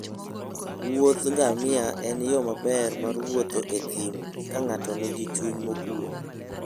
Wuodh ngamia en yo maber mar wuotho e thim ka ng'ato nigi chuny mokuwe.